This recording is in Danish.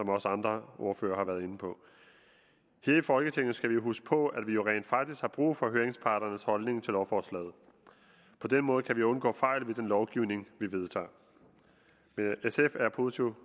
også andre ordførere har været inde på her i folketinget skal vi jo huske på at vi rent faktisk har brug for høringsparternes holdning til lovforslaget på den måde kan vi undgå fejl ved den lovgivning vi vedtager men sf er positivt